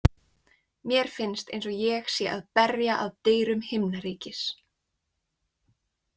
Mér finnst eins og ég sé að berja að dyrum himnaríkis.